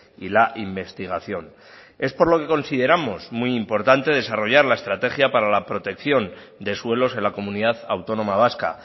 y la investigación es por lo que consideramos muy importante desarrollar la estrategia para la protección de suelos en la comunidad autónoma vasca